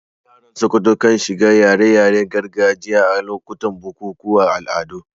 Yaran Sokoto kan shiga raye-rayen gargajiya a lokutan bukukuwan al'adu.